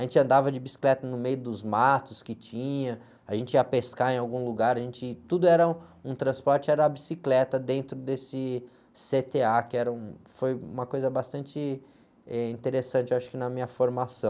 A gente andava de bicicleta no meio dos matos que tinha, a gente ia pescar em algum lugar, a gente, tudo era um, um transporte, era a bicicleta dentro desse cê-tê-á, que era um, foi uma coisa bastante, eh, interessante, acho que na minha formação.